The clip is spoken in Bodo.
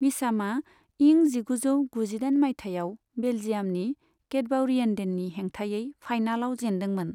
मिचामा इं जिगुजौ गुजिदाइन मायथाइयाव बेल्जियामनि कैटबावरिएन्डेननि हेंथायै फाइनालाव जेनदोंमोन।